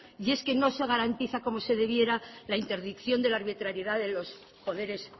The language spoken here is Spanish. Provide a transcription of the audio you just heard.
y es que no se garantiza como se debiera la interdicción de la arbitrariedad de los poderes